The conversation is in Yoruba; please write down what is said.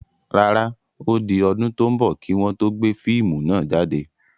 Rárá, ó di ọdún tò ń bọ̀ kii wọn to gbé fíìmù náà jáde.